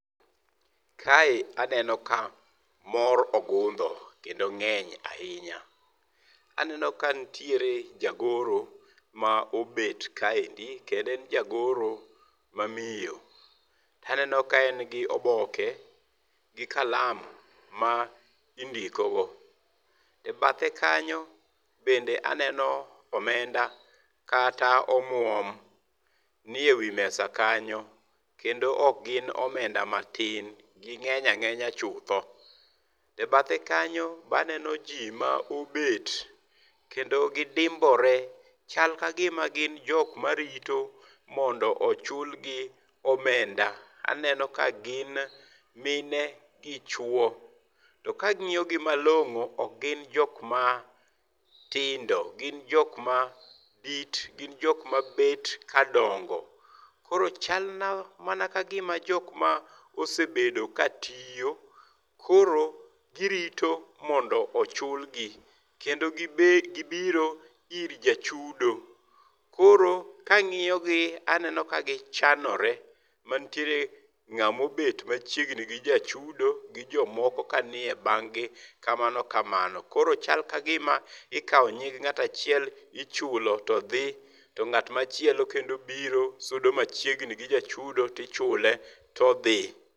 Kae aneno kamor ogundho kendo mor ahinya. Aneno ka ntiere jagoro ma obet kaendi kendo en jagoro ma miyo. Aneno ka en gi oboke gi kalam ma indikogo. Ebathe kanyo bende aneno omenda kata omwom ni ewi mesa kanyo kendo ok gin omenda matin gi ng'eny ang'enya chutho. Ebathe kanyo baneno jii ma obet kendo gidim ore kendo chal ka gima girito mondo ochul gi omenda .Aneno ka gin mine gi chuo . To kang'iyo gi malong'o ok gin jok matindo gin jok madit gin jok mabet ka dongo. Koro chal na mana ka gima jok mosebedo ka tiyo koro girito mondo chulgi kendo gibiro ir jachudo. Koro kang'iyo gii aneno ka gichanore manitiere ng'amo bet machiegni gi jachudo gi jomoko kanie bang' gi kamano kamano. Koro chal kagima ikawo nying ng'at achiel ichulo todhi to ng'at machielo kendo biro sudo machiegni gi jachudo tichule todhi.